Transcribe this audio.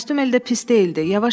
Kostyum elə də pis deyildi.